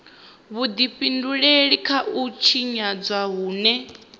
vhudifhinduleli kha u tshinyadzwa hune